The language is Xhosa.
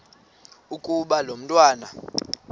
ukuba lo mntwana